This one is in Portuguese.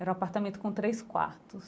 Era um apartamento com três quartos.